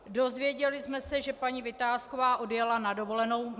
Dozvěděli jsme se, že paní Vitásková odjela na dovolenou.